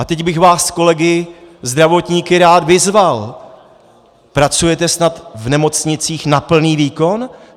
A teď bych vás kolegy zdravotníky rád vyzval: Pracujete snad v nemocnicích na plný výkon?